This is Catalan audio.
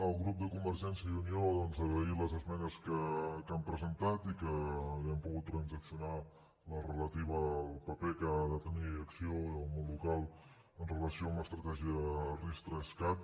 al grup de convergència i unió doncs agrair les esmenes que han presentat i que hàgim pogut transaccionar la relativa al paper que han de tenir acció i el món local amb relació a l’estratègia ris3cat